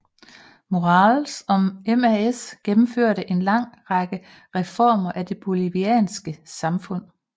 Morales og MAS gennmførte en lang række reformer af det bolivianske samfund